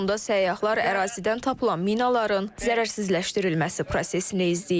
Sonda səyyahlar ərazidən tapılan minaların zərərsizləşdirilməsi prosesini izləyib.